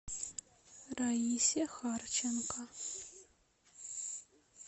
раисе харченко